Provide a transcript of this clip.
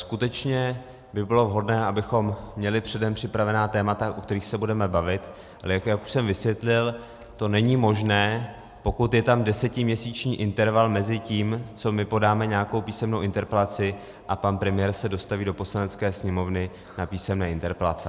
Skutečně by bylo vhodné, abychom měli předem připravená témata, o kterých se budeme bavit, ale jak už jsem vysvětlil, to není možné, pokud je tam desetiměsíční interval mezi tím, co my podáme nějakou písemnou interpelaci, a pan premiér se dostaví do Poslanecké sněmovny na písemné interpelace.